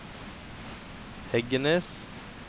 Heggenes